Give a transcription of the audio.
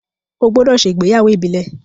o gbódò ṣe ìgbéyàwó Ibile!